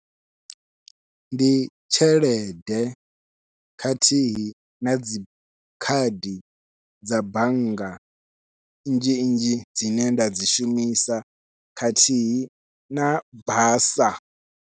Ndi tshelede khathihi nadzi khadi dza bannga nnzhi nnzhi dzine nda dzi shumisa khathihi na basa.